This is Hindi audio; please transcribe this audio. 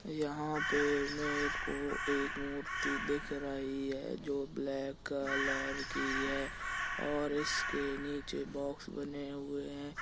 यहां पे मेरे को एक मूर्ति दिख रही है जो ब्लैक कलर की है और इसके नीचे बॉक्स बने हुए है।